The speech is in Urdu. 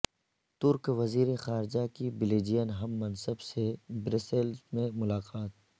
ترک وزیر خارجہ کی بیلجین ہم منصب سے برسلز میں ملاقات